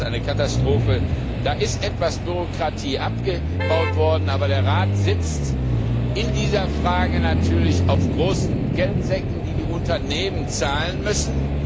Ich finde, das ist eine Katastrophe. Da ist zwar etwas Bürokratie abgebaut worden, aber der Rat sitzt in dieser Frage natürlich auf großen Geldsäcken, die die Unternehmen zahlen müssen.